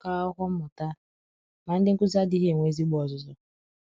akwụkwọ mmụta, ma ndị nkuzi adịghị enwe ezigbo ọzụzụ.